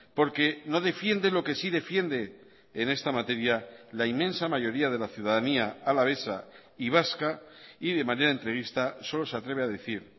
porque no defiende lo que sí defiende en esta materia la inmensa mayoría de la ciudadanía alavesa y vasca y de manera entrevista solo se atreve a decir